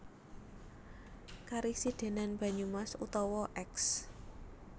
Karesidhenan Banyumas utawa Eks